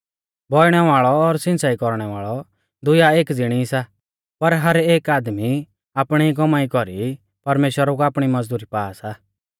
बौइणै वाल़ौ और सिंच़ाई कौरणै वाल़ौ दुइयौ एक ज़िणी सा पर हर एक आदमी कौमाई कौरी आपणी ई परमेश्‍वरा कु आपणी मज़दुरी पा सा